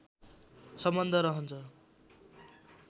सम्बन्ध रहन्छ